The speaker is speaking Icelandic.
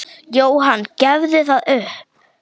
Jóhann: Gefurðu það upp?